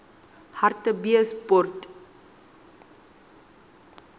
hartbeespoort